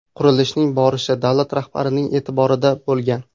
Qurilishning borishi davlat rahbarining e’tiborida bo‘lgan.